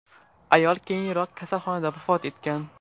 Ayol keyinroq kasalxonada vafot etgan .